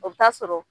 O bɛ taa sɔrɔ